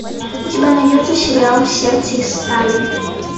у тебя найдется сериал сердце из стали